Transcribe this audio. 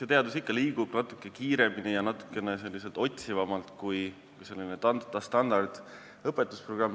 Eks teadus liigub ikka natukene kiiremini ja veidikene otsivamalt kui standardõpetusprogramm.